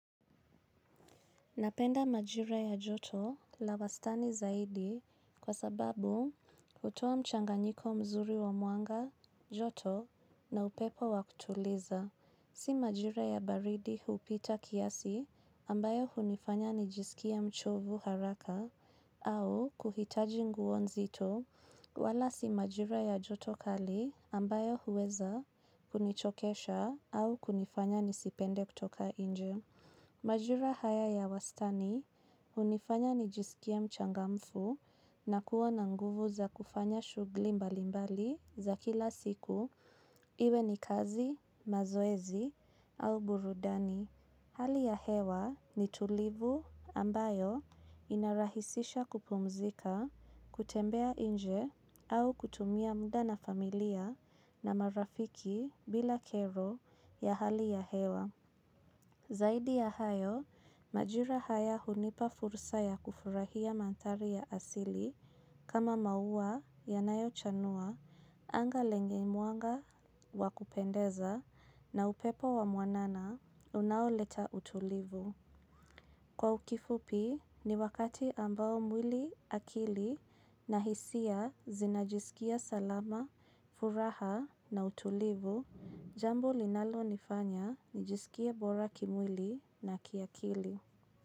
Napenda majira ya joto la wastani zaidi kwa sababu hutoa mchanganyiko mzuri wa mwanga, joto na upepo wa kutuliza. Si majira ya baridi hupita kiasi ambayo hunifanya nijisikie mchovu haraka au kuhitaji nguo nzito wala si majira ya joto kali ambayo huweza kunichokesha au kunifanya nisipende kutoka nje majira haya ya wastani hunifanya nijisikie mchangamfu na kuwa na nguvu za kufanya shughuli mbali mbali za kila siku iwe ni kazi mazoezi au burudani. Hali ya hewa ni tulivu ambayo inarahisisha kupumzika, kutembea nje au kutumia muda na familia na marafiki bila kero ya hali ya hewa. Zaidi ya hayo majira haya hunipa fursa ya kufurahia maandhari ya asili kama maua yanayochanua anga lenye mwanga wa kupendeza na upepo wa mwanana unaoleta utulivu. Kwa kifupi ni wakati ambao mwili akili na hisia zinajisikia salama, furaha na utulivu, jambo linalo nifanya nijisikie bora kimwili na kiakili.